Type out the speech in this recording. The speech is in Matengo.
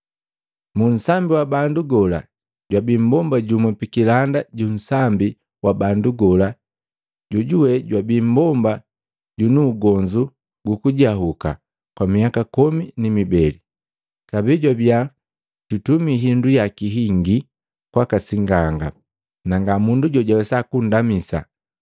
Muunsambi wa bandu gola, jwabi mmbomba jumu pikilanda ju unsambi wa bandu gola, jojuwe jwabi mmbomba junu ugonzu gukujahuka kwa miaka komi ni mibele, kabee jwabiya jutumi hindu yaki hingi kwaka sing'anga, nga mundu jojawesa kunndamisa.